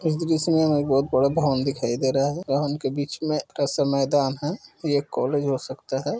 इस दृश्य में हमें एक बहोत बड़ा भवन दिखाई दे रहा है। भवन के बीच में ऐसा मैदान है। ये एक कॉलेज हो सकता है।